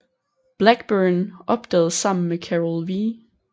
Blackburn opdagede sammen med Carol W